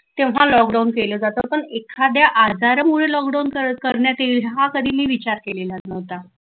तेव्हा लॉकडाऊन केलं जात पण एखाद्या आजारामुळे लॉकडाऊन करण्यात येईल हा कधी मी विचार केलेला नव्हता.